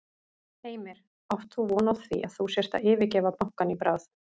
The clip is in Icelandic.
Heimir: Átt þú von á því að þú sért að yfirgefa bankann í bráð?